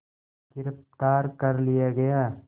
गिरफ़्तार कर लिया गया